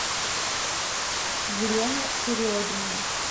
елена серегина